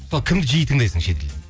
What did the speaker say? кімді жиі тыңдайсың шетелден